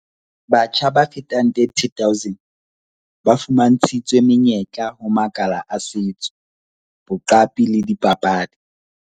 Batjha ba fetang 30 000 ba fuma ntshitswe menyetla ho makala a setso, boqapi le dipapadi.